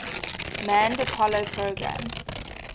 manned apollo program